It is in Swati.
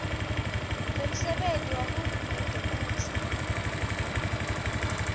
nemsebenti wahulumende kutsi